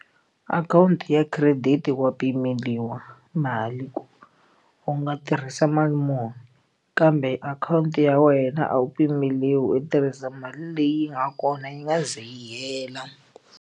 Akhawunti ya credit wa pimeriwa mali ku u nga tirhisa mali muni kambe akhawunti ya wena a wu pimeriwi u tirhisa mali leyi nga kona yi nga ze yi hela.